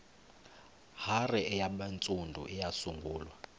hare yabantsundu eyasungulwa